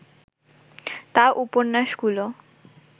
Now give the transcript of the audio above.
তাঁর উপন্যাসগুলো